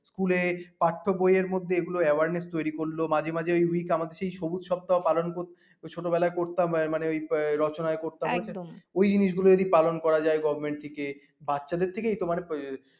school এ পাঠ্য বইয়ের মধ্যে এগুলো awareness তৈরী করলো মাঝে মাঝে ওই সবুজ সপ্তাহ পালন ছোটবেলায় করতাম মানে ওই রচনা করতাম ওই জিনিস গুলো পালন করা যায় govt. থেকে বাচ্চাদের থেকে এই তোমার